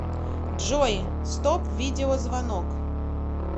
джой стоп видеозвонок